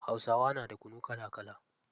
Hausawa na da kunu kala kala.